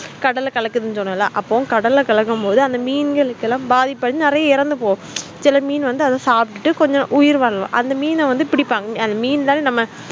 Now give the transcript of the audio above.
கடல கலக்குதுன்னு சொன்னேள கடலைகளக்கும் போதுஅந்த மீன்கள்எல்லாம் பாதிப்பு ஆகி நெறைய இறந்து போகும் சில மீன்கள் அத சாப்பிட்டு உயிர் வாழ்லலாம் அந்த மீன்கள் பிடிபங்க அந்த மீன்கள்